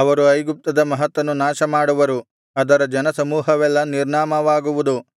ಅವರು ಐಗುಪ್ತದ ಮಹತ್ತನ್ನು ನಾಶ ಮಾಡುವರು ಅದರ ಜನ ಸಮೂಹವೆಲ್ಲಾ ನಿರ್ನಾಮವಾಗುವುದು